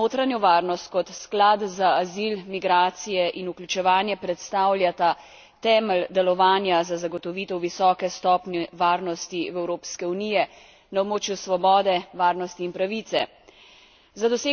Tako sklad za notranjo varnost kot sklad za azil, migracije in vključevanje predstavljata temelj delovanja za zagotovitev visoke stopnje varnosti Evropske unije na območju svobode, varnosti in pravice.